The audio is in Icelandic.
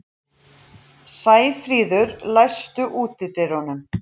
Sæfríður, læstu útidyrunum.